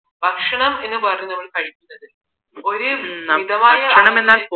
ഭക്ഷണം എന്ന് പറഞ്ഞാൽ ഒരു മിതമായ